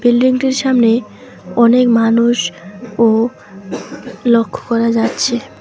বিল্ডিংটির সামনে অনেক মানুষও লক্ষ্য করা যাচ্ছে।